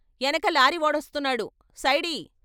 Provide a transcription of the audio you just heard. ఎనక లారీవోడొస్తున్నాడు సైడియ్....